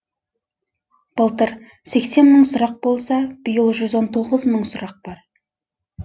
былтыр сексен мың сұрақ болса биыл жүз он тоғыз мың сұрақ бар